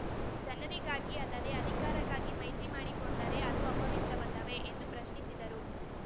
ಜನರಿಗಾಗಿ ಅಲ್ಲದೆ ಅಧಿಕಾರಕ್ಕಾಗಿ ಮೈತ್ರಿ ಮಾಡಿಕೊಂಡರೆ ಅದು ಅಪವಿತ್ರವಲ್ಲವೇ ಎಂದು ಪ್ರಶ್ನಿಸಿದರು